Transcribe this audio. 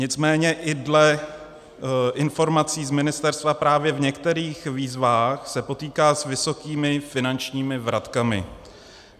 Nicméně i dle informací z ministerstva právě v některých výzvách se potýká s vysokými finančními vratkami.